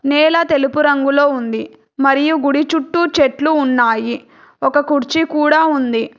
నేల తెలుపు రంగులో ఉంది మరియు గుడి చుట్టూ చెట్లు ఉన్నాయి ఒక కుర్చీ కూడా ఉంది.